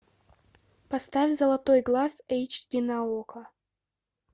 поставь золотой глаз эйч ди на окко